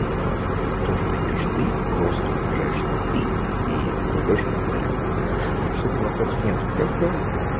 то что ешь ты просто умножаешь на мне в тарелку написать вопросов нету просто